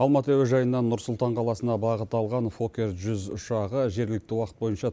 алматы әуежайынан нұр сұлтан қаласына бағыт алған фоккер жүз ұшағы жергілікті уақыт бойынша